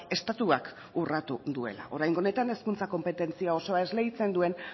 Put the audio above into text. estatuak urratu duela oraingo honetan hezkuntza konpetentzia osoa esleitzen duen